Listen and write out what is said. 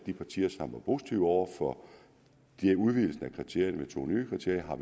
de partier som var positive over for en udvidelse af kriterierne med to nye kriterier